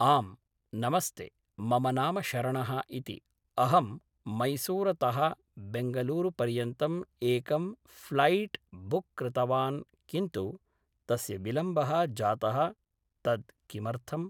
आं नमस्ते मम नाम शरणः इति अहं मैसूर् तः बेङ्गलूरुपर्यन्तम् एकं फ्लैट् बुक् कृतवान् किन्तु तस्य विलम्बः जातः तद् किमर्थम्